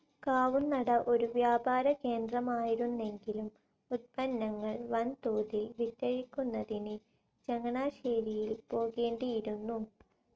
കാവുന്നട ഒരു വ്യാപാരകേന്ദ്രമായിരുന്നെങ്കിലും ഉത്പന്നങ്ങൾ വൻതോതിൽ വിറ്റഴിക്കുന്നതിന് ചങ്ങനാശ്ശേരിയിൽ പോകേണ്ടിയിരുന്നു.